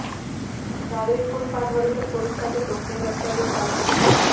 नागरिक फुटपाथवरून तर पोलीस त्यांच्या सोबतीने रस्त्यावरून चालत होते